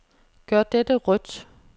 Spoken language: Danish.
Gør dette rødt.